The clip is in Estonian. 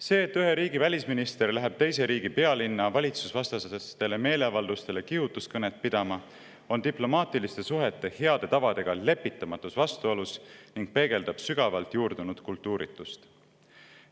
See, et ühe riigi välisminister läheb teise riigi pealinna valitsusvastastele meeleavaldustele kihutuskõnet pidama, on diplomaatiliste suhete heade tavadega lepitamatus vastuolus ning peegeldab sügavalt juurdunud kultuuritust.